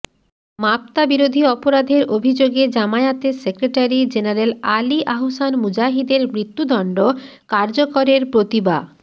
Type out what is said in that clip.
মাবতাবিরোধী অপরাধের অভিযোগে জামায়াতের সেক্রেটারি জেনারেল আলী আহসান মুজাহিদের মৃত্যুদণ্ড কার্যকরের প্রতিবা